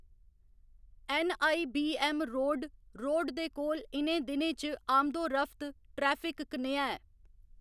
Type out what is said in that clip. NIBM road road दे कोल इनें दिनें च आमदोरफ्त, ट्रैफिक कनेहा ऐ